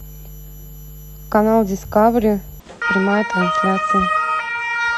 канал дискавери прямая трансляция